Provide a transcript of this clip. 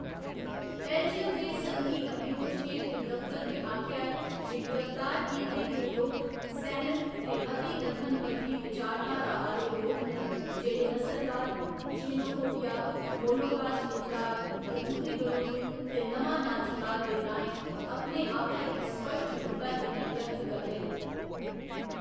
Belgium दे संघी अभियोजकें दे दफतर ने आखेआ ऐ जे गिरफ्तार कीते गे लोक सैनक ते अति दक्खनपंथी विचारधारा आह्‌‌‌ले लोक न जेह्‌‌ड़े नस्लवाद, जेनोफोबिया, होलोकास्ट इनकार, यहूदी बरोधी ते नमां नाजीवाद दे राहें अपने आपै गी स्पश्ट रूपै कन्नै व्यक्त करदे न।